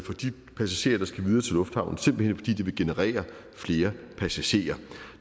for de passagerer der skal videre til lufthavnen simpelt hen fordi det vil generere flere passagerer